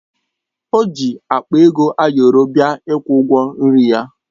O ji akpa ego ayọrọ bịa ịkwụ ụgwọ nri ya